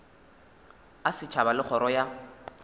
a setšhaba le kgoro ya